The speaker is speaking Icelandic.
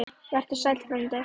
Vertu sæll frændi.